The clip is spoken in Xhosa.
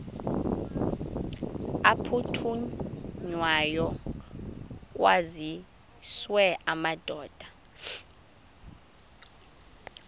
aphuthunywayo kwaziswe amadoda